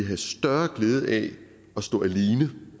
have større glæde af at stå alene